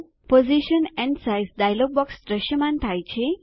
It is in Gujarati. position and size dialog box દ્રશ્યમાન થાય છે